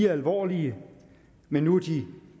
alvorlige men nu er de